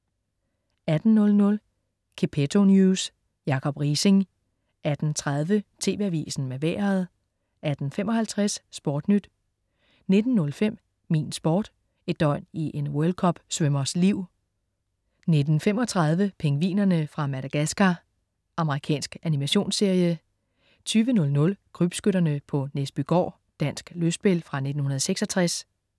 18.00 Gepetto News. Jacob Riising 18.30 TV Avisen med Vejret 18.55 SportNyt 19.05 Min Sport: Et døgn i en World Cup-svømmers liv 19.35 Pingvinerne fra Madagascar. Amerikansk animationsserie 20.00 Krybskytterne på Næsbygård. Dansk lystspil fra 1966